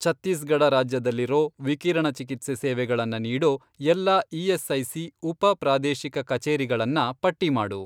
ಛತ್ತೀಸ್ಗಢ ರಾಜ್ಯದಲ್ಲಿರೋ, ವಿಕಿರಣ ಚಿಕಿತ್ಸೆ ಸೇವೆಗಳನ್ನ ನೀಡೋ ಎಲ್ಲಾ ಇ.ಎಸ್.ಐ.ಸಿ. ಉಪ, ಪ್ರಾದೇಶಿಕ ಕಚೇರಿಗಳನ್ನ ಪಟ್ಟಿ ಮಾಡು.